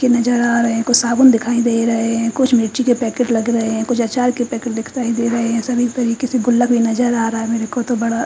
कुछ नज़र आ रहे है कुछ साबुन दिखाई दे रहे है कुछ मिर्ची के पैकेट लग रहे है कुछ आचार के पैकेट दिखाई दे रहे है सभी तरीकेसे गुल्ला भी नज़र आ रहा है मेरेको तो बड़ा--